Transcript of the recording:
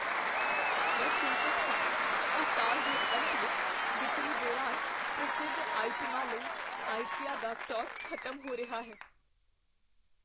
ਮੈਂ ਚਿੰਤਤ ਹਾਂ ਕੀ ਸਾਲ ਦੇ ਅੰਤ ਵਿੱਚ ਵਿਕਰੀ ਦੌਰਾਨ ਪ੍ਰਸਿੱਧ ਆਈਟਮਾਂ ਲਈ ਆਈਕੀਆ ਦਾ ਸਟਾਕ ਖ਼ਤਮ ਹੋ ਰਿਹਾ ਹੈ।